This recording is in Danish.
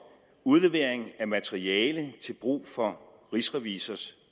udlevering af materiale til brug for rigsrevisors